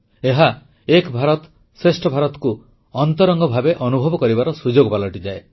ଏହା ଏକ ଭାରତ ଶ୍ରେଷ୍ଠ ଭାରତକୁ ଅନ୍ତରଙ୍ଗ ଭାବେ ଅନୁଭବ କରିବାର ସୁଯୋଗ ପାଲଟିଯାଏ